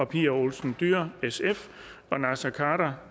pia olsen dyhr og naser khader